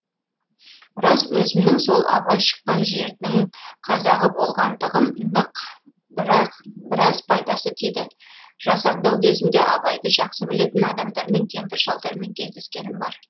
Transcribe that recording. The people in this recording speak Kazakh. рас өзімнің сол абай шыққан жердін қазағы болғандығым нық бірақ біраз пайдасы тиді жасаңдау кезімде абайды жақсы білетін адамдармен кемпір шалдармен кездескенім бар